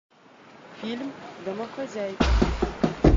фильм домохозяйка